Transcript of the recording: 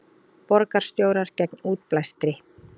Borgarstjórar gegn útblæstri